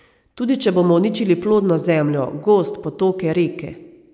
Tudi če bomo uničili plodno zemljo, gozd, potoke, reke...